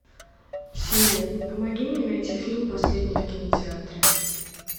сири помоги мне найти фильм последний в кинотеатре